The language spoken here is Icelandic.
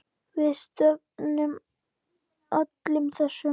Við stefnum öllum þessum